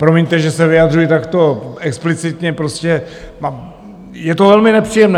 Promiňte, že se vyjadřuji takto explicitně, prostě je to velmi nepříjemné.